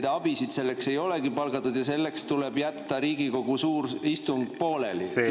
Teil abisid selleks ei olegi palgatud ja selleks tuleb jätta Riigikogu suur istung pooleli?